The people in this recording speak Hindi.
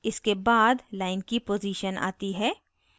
इसके बाद line की पोज़ीशन आती है